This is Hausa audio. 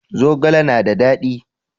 Zogale na da dadi.